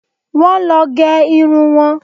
Wọ́n lọ gẹ irun wọn